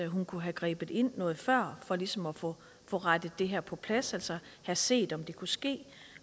hun kunne have grebet ind noget før for ligesom at få det her på plads altså have set om det kunne ske